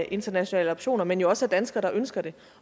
internationale adoptioner men jo også af danskere der ønsker det